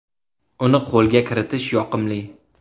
Uni qo‘lga kiritish yoqimli.